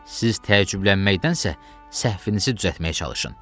Siz təəccüblənməkdənsə, səhvinizi düzəltməyə çalışın.